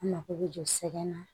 An mako bɛ jɔ sɛgɛ na